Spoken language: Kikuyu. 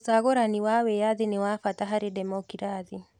ũcagũrani wa wĩyathi nĩ wa bata harĩ ndemokirathĩ.